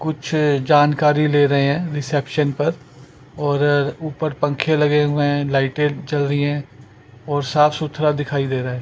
कुछ जानकारी ले रहे हैं रिसेप्शन पर और ऊपर पंखे लगे हुए हैं लाइट जल रही है और साफ सुथरा दिखाई दे रहा है।